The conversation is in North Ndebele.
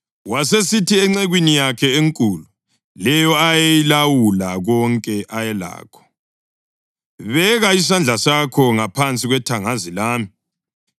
Wasesithi encekwini yakhe enkulu, leyo eyayilawula konke ayelakho, “Beka isandla sakho ngaphansi kwethangazi lami.